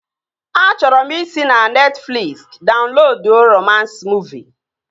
Achọrọ m ị si na Netfliksi daunloduo romans muuvi